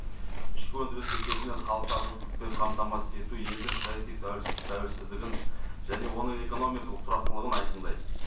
ішкі өндіріс есебінен халықты азық түлікпен қамтамасыз ету елдің саяси тәуелсіздігін және оның экономикалық тұрақтылығын айқындайды